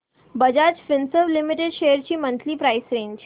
Bajaj Finserv limited shares ची monthly price range